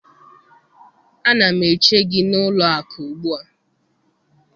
Ana m eche gị n'ụlọ akụ ugbu a!